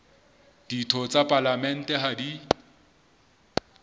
ditho tsa palamente ha di